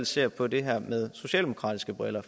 ser på det her med socialdemokratiske briller